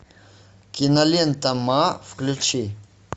кинолента ма включи